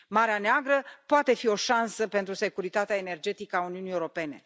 Marea Neagră poate fi o șansă pentru securitatea energetică a Uniunii Europene.